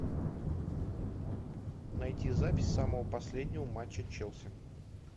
найти запись самого последнего матча челси